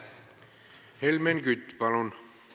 Helmen Kütt, palun!